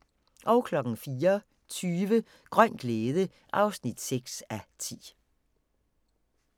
04:20: Grøn glæde (6:10)